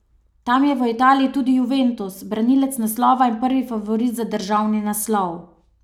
Tam je v Italiji tudi Juventus, branilec naslova in prvi favorit za državni naslov.